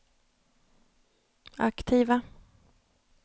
aktiva